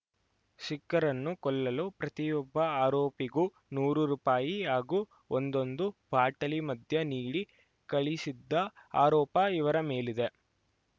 ಸಿಖ್ಖರನ್ನು ಕೊಲ್ಲಲು ಪ್ರತಿಯೊಬ್ಬ ಆರೋಪಿಗೂ ನೂರು ರೂಪಾಯಿ ಹಾಗೂ ಒಂದೊಂದು ಬಾಟಲಿ ಮದ್ಯ ನೀಡಿ ಕಳಿಸಿದ್ದ ಆರೋಪ ಇವರ ಮೇಲಿದೆ